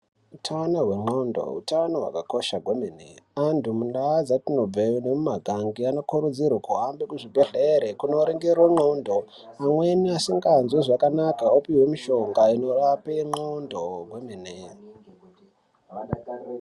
Utano hwemuntu utano hwakakosha kwemene, antu mundau dzatinobva nemumagange anokurudzirwe kuhambe kuzvibhedhlera kunorongire ndxondo, amweni asinganzwe zvakanaka opiwe mishonga inorape ndxondo kwemene.